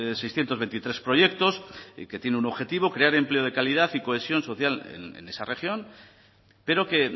seiscientos veintitrés proyectos y que tiene un objetivo crear empleo de calidad y cohesión social en esa región pero que